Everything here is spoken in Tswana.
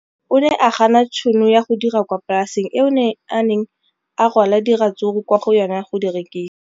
O ne a gana tšhono ya go dira kwa polaseng eo a neng rwala diratsuru kwa go yona go di rekisa.